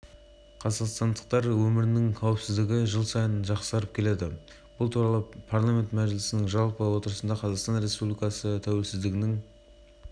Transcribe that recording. миллион тонна мұнай мен миллион текше метр газ жылы млн тонна мұнай мен млрд текше